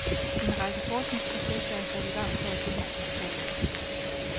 En række forskningsprojekter er sat i gang for at belyse sproget.